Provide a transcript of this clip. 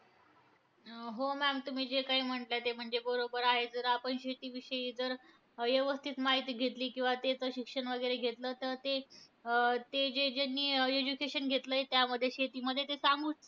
हो maam, तुम्ही जे काही म्हणले ते म्हणजे बरोबर आहे. जर आपण शेतीविषयी जर यवस्थित माहिती घेतली, किंवा त्याचं शिक्षण वगैरे घेतलं तर ते अं ते जे ज्यांनी education घेतलंय त्यामध्ये शेतीमध्ये ते सांगू